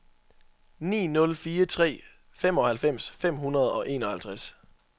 ni nul fire tre femoghalvfems fem hundrede og enoghalvtreds